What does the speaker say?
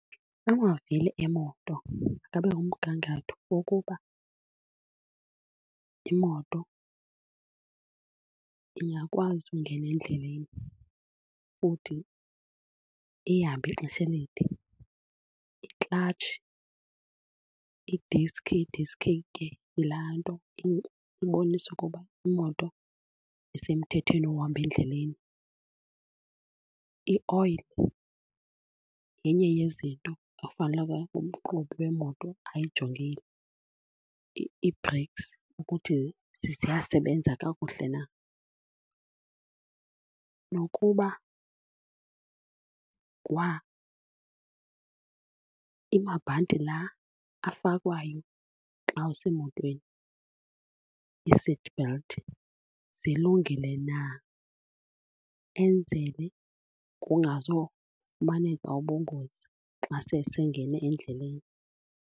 Amavili emoto abe kumgangatho wokuba imoto ingakwazi ungena endleleni, futhi ihambe ixesha elide. Iklatshi, idiskhi, idiskhi ke yilaa nto ibonisa ukuba imoto isemthethweni wohamba endleleni. I-oil yenye yezinto afaneleke umqhubi wemoto ayijongile. Ii-breaks ukuthi ziyasebenza kakuhle na nokuba kwa amabhanti laa afakwayo xa usemotweni, i-seatbelt, zilungile na enzele kungazofumaneka ubungozi xa sesengene endleleni.